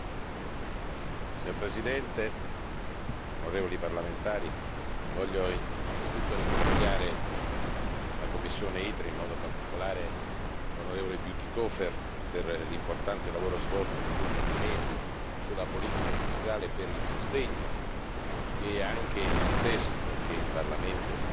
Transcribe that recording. Signor Presidente, onorevoli parlamentari, voglio innanzitutto ringraziare la commissione ITRE, in modo particolare l'onorevole Bütikofer, per l'importante lavoro svolto negli ultimi mesi sulla politica industriale e per il sostegno che anche il testo all'esame del Parlamento